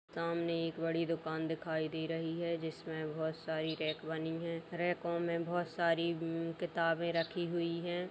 सामने एक बड़ी दुकान दिखाई दे रही है जिसमें बोहोत सारी रैक बनी है | रैकों में बोहोत सारी उम किताबें रखी हुई हैं ।